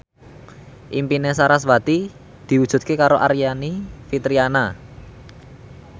impine sarasvati diwujudke karo Aryani Fitriana